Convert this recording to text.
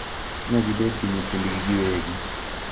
Ma gibed gi nyithindgi giwegi.